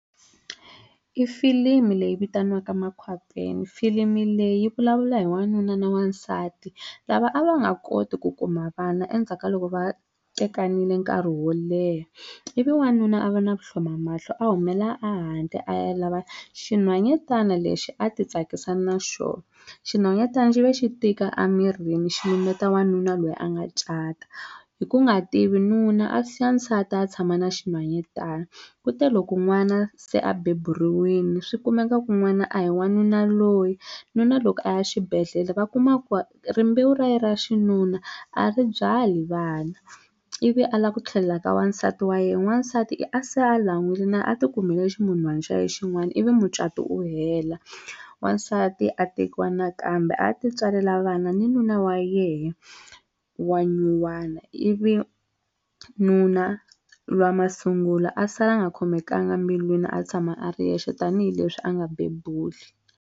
I filimi leyi vitaniwaka Makhwapeni filimi leyi yi vulavula hi wanuna na wansati lava a va nga koti ku kuma vana endzhaku ka loko va tekanile nkarhi wo leha ivi wanuna a va na vuhlomamahlo a humela ehandle a ya lava xinhwanyatana lexi a ti tsakisa na xona xinhwanyatana xi ve xi tika emirini xi lumbeta n'wanuna loyi a nga cata hi ku nga tivi nuna a siya nsati a ya tshama na xinhwanyatana ku te loko n'wana se a beburiwile swi kumeka ku n'wana a hi wa nuna loyi nuna loko a ya xibedhlele va kuma ku rimbewu ra yena ra xinuna a ri byali vana ivi a lava ku tlhelela ka wansati wa yena n'wansati i se a lan'wile na a ti kumele na ximunhwana xa yena xin'wana ivi mucato wu hela wansati a tekiwa nakambe a ya ti tswalela vana ni nuna wa yehe wa nyuwana ivi nuna lwiya wa masungulo a sala a nga khomekanga embilwini a tshama a ri yexe tanihileswi a nga bebuli.